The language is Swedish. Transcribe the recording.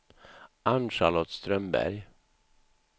Ann-Charlotte Strömberg